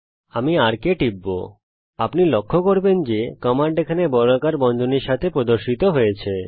আমি arc এ টিপব আপনি লক্ষ্য করবেন যে কমান্ড এখানে বর্গাকার বন্ধনীর সঙ্গে প্রদর্শিত হচ্ছে